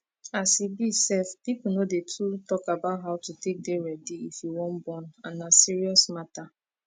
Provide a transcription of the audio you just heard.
as e be sef people no dey to talk about how to take dey ready if you wan born and na serious matter